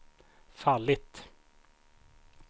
fallit